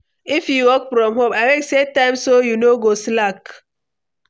If you work from home, abeg set time so you no go slack.